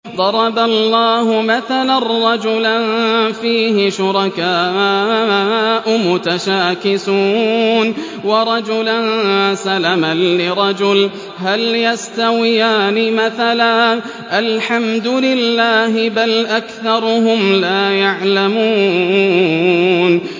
ضَرَبَ اللَّهُ مَثَلًا رَّجُلًا فِيهِ شُرَكَاءُ مُتَشَاكِسُونَ وَرَجُلًا سَلَمًا لِّرَجُلٍ هَلْ يَسْتَوِيَانِ مَثَلًا ۚ الْحَمْدُ لِلَّهِ ۚ بَلْ أَكْثَرُهُمْ لَا يَعْلَمُونَ